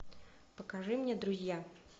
покажи мне друзья